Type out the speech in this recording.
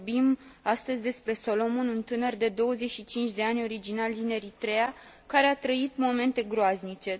Vorbim astăzi despre Solomon, un tânăr de 25 de ani, originar din Eritreea, care a trăit momente groaznice.